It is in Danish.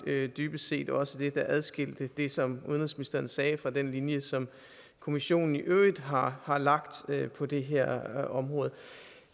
vel dybest set også det der adskilte det som udenrigsministeren sagde fra den linje som kommissionen i øvrigt har har lagt på det her område